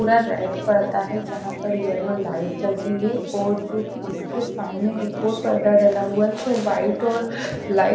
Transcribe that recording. पूरा रेट पड़ता है जहां पर येलो लाइट लगी है और जो कि इसके सामने एक और पर्दा डाला हुआ है जो वाइट और लाइट --